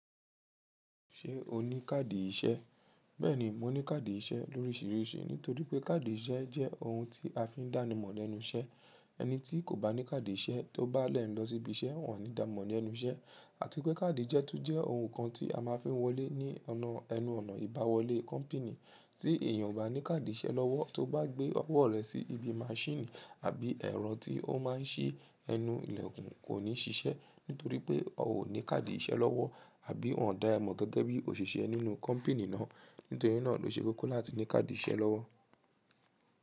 Ṣé o ní káàdì iṣẹ́? Bẹ́ẹ̀ni, mo ní káàdì iṣẹ́ lóríṣiríṣi nítorí pé káàdì iṣẹ́ jẹ́ ohun tí a fi ń dánimọ̀ lẹ́nu iṣẹ́. Ẹni tí kò bá ní káàdì iṣẹ́ tó bá lẹ́ẹ̀ nlọ síbi iṣẹ́, wọn ò ní dáa mọ̀ ní ẹnu iṣẹ́ àti pé káàdì jẹ́ tún jẹ́ ohun kan tí a máa fi ń wọlé ní ẹnu ọ̀nà ìbá wọlé kọ́mpìnì. Tí èèyàn ò bá ní káàdì iṣẹ́ lọ́wọ́ tó bá gbé ọwọ́ rẹ̀ sí ibi maṣíìnì àbí ẹ̀rọ tí ó máa ń ṣí ẹnu ilẹ̀kùn kò ní ṣiṣẹ́ nítorí pé ọ ò ní káàdì iṣẹ́ lọ́wọ́ àbí wọn dàá ẹ mọ̀ gẹ́gẹ́ bí òṣìṣẹ́ nínú kọ́mpìnì náà. Nítorí náà ló ṣe kókó láti ní káàdì iṣẹ́ lọ́wọ́.